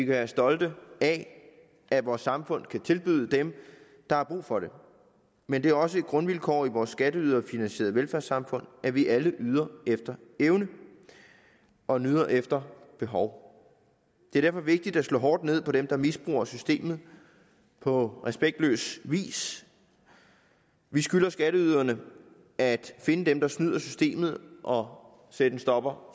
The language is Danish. være stolte af at vores samfund kan tilbyde dem der har brug for det men det er også et grundvilkår i vores skatteyderfinansierede velfærdssamfund at vi alle yder efter evne og nyder efter behov det er derfor vigtigt at slå hårdt ned på dem der misbruger systemet på respektløs vis vi skylder skatteyderne at finde dem der snyder systemet og sætte en stopper